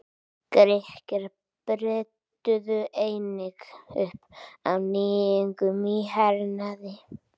Grikkir brydduðu einnig upp á nýjungum í hernaði.